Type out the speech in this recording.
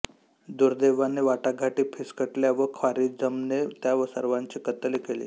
दुर्दैवाने वाटाघाटी फिस्कटल्या व ख्वारिझमने त्या सर्वांची कत्तल केली